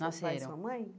Nasceram.Seu pai e sua mãe